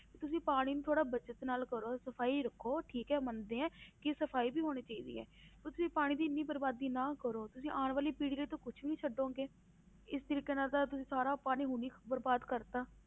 ਵੀ ਤੁਸੀਂ ਪਾਣੀ ਨੂੰ ਥੋੜ੍ਹਾ ਬਚਤ ਨਾਲ ਕਰੋ ਸਫ਼ਾਈ ਰੱਖੋ ਠੀਕ ਹੈ ਮੰਨਦੇ ਹਾਂ ਕਿ ਸਫ਼ਾਈ ਵੀ ਹੋਣੀ ਚਾਹੀਦੀ ਹੈ, ਤੁਸੀਂ ਪਾਣੀ ਦੀ ਇੰਨੀ ਬਰਬਾਦੀ ਨਾ ਕਰੋ ਤੁਸੀਂ ਆਉਣ ਵਾਲੀ ਪੀੜ੍ਹੀ ਲਈ ਤਾਂ ਕੁਛ ਨੀ ਛੱਡੋਗੇ, ਇਸ ਤਰੀਕੇ ਨਾਲ ਤਾਂ ਤੁਸੀਂ ਸਾਰਾ ਪਾਣੀ ਬਰਬਾਦ ਕਰ ਦਿੱਤਾ।